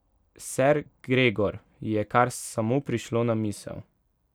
Ser Gregor, ji je kar samo prišlo na misel.